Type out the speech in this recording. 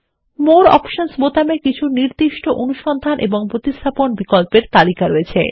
মোরে অপশনস বোতামে কিছু নির্দিষ্ট অনুসন্ধান ও প্রতিস্থাপন বিকল্পেরএকটি তালিকা রয়েছে